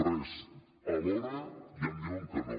res a l’hora ja em diuen que no